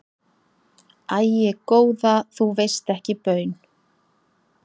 Æi góða þú veist ekki baun.